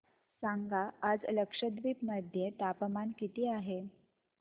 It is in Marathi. सांगा आज लक्षद्वीप मध्ये तापमान किती आहे